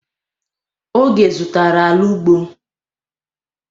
Oge zụtara ala ugbo.